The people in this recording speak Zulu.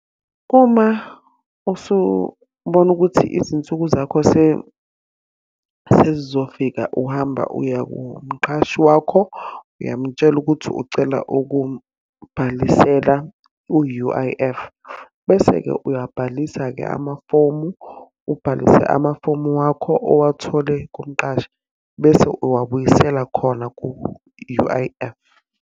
Uma usubona ukuthi izinsuku zakho sesizofika uhamba uya kumqhashi wakho, uyam'tshela ukuthi ucela ukubhalisela u-U_I_F. Bese-ke uyabhalisa-ke amafomu, ubhalise amafomu wakho owathole kumqashi, bese uwabuyisela khona ku-U_I_F.